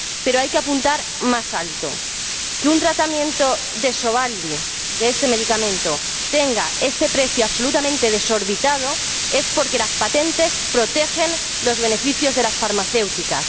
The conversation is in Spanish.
Pero hay que apuntar más alto si un tratamiento de Sovaldi, de este medicamento, tiene este precio absolutamente desorbitado es porque las patentes protegen los beneficios de las farmacéuticas.